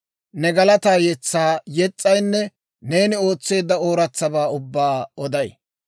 ne galataa yetsaa yes's'aynne neeni ootseedda ooratsabaa ubbaa oday.